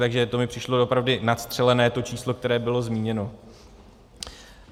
Takže to mi přišlo doopravdy nadstřelené, to číslo, které bylo zmíněno.